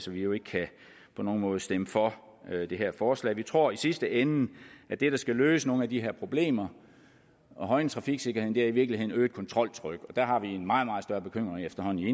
vi jo ikke på nogen måde kan stemme for det her forslag vi tror i sidste ende skal løse nogle af de her problemer og højne trafiksikkerheden i virkeligheden øget kontroltryk der har vi en meget meget større bekymring efterhånden